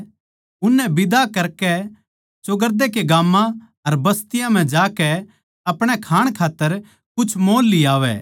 उननै बिदा करके चोगरदे कै गाम्मां अर बस्तियाँ म्ह जाकै अपणे खाण खात्तर कुछ मोल लियावै